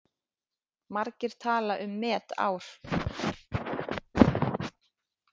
Margir tala um met ár.